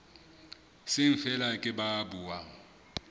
seng feela ke ba buang